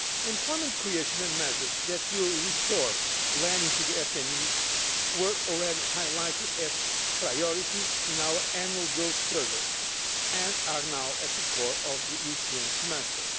Employment creation and measures that will restore lending to SMEs were already highlighted as priorities in our Annual Growth Survey and are now at the core of our European Semester.